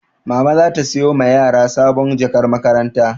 Mama za ta sayo ma yara sabon jakar makaranta.